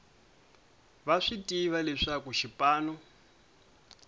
va swi tiva leswaku xipano